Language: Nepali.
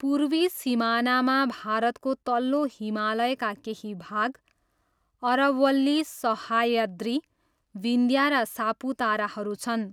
पूर्वी सिमानामा भारतको तल्लो हिमालयका केही भाग, अरवल्ली, सह्याद्री, विन्ध्या र सापुताराहरू छन्।